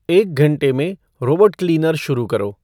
एक घंटे में रोबोट क्लीनर शुरू करो